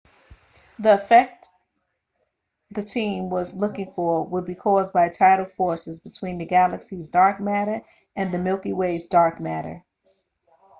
the effect the team was looking for would be caused by tidal forces between the galaxy's dark matter and the milky way's dark matter